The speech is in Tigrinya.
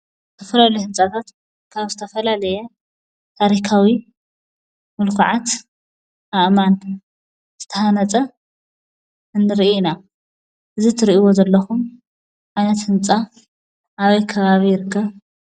ዝተፈላለዩ ህንፃታት ካብ ዝተፈላለየ ታሪካዊ ሙልካዓት ኣእማን ዝተሃነፀ ንሪኢ ኢና። እዚ እትሪኢዎ ዘለኹም ዓይነት ህንፃ ኣበይ ከባቢ ይርከብ?